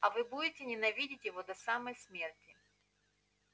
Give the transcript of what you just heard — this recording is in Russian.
а вы будете ненавидеть его до самой смерти